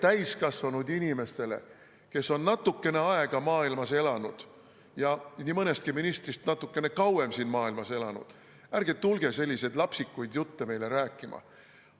Ärge tulge täiskasvanud inimestele, kes on natukene aega maailmas elanud ja nii mõnestki ministrist natukene kauem siin maailmas elanud, selliseid lapsikuid jutte rääkima.